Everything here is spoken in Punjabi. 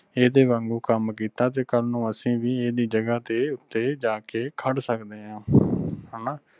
ਏਦ੍ਹੇ ਵਾਂਗੂ ਕੰਮ ਕੀਤਾ ਤੇ ਕੱਲ ਨੂੰ ਅਸੀਂ ਵੀ ਐਦੀ ਜਗਾਹ ਦੇ ਉਤੇ ਜਾਕੇ ਖੜ ਸਕਦੇ ਆਂ ਹਣਾ।